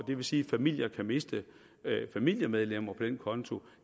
det vil sige at familier kan miste familiemedlemmer på den konto